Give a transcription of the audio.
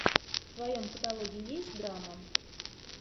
в твоем каталоге есть драма